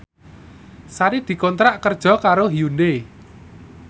Sari dikontrak kerja karo Hyundai